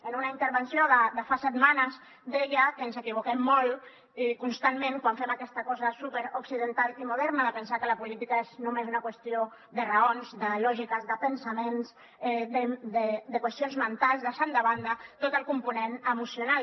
en una intervenció de fa setmanes deia que ens equivoquem molt i constantment quan fem aquesta cosa superoccidental i moderna de pensar que la política és només una qüestió de raons de lògiques de pensaments de qüestions mentals deixant de banda tot el component emocional